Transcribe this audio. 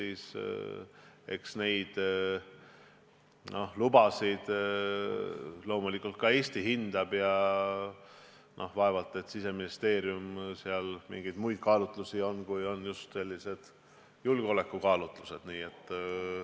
Eks neid lubasid loomulikult Eestis hinnatakse ja vaevalt Siseministeeriumil mingeid muid kaalutlusi on kui just julgeolekukaalutlused.